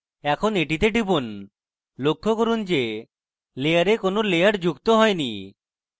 এখন এটিতে টিপি লক্ষ্য করুন যে layer কোনো layer যুক্ত হয়নি